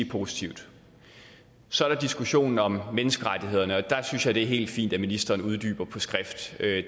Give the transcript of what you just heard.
positivt så er der diskussionen om menneskerettighederne og der synes jeg at det er helt fint at ministeren uddyber skrift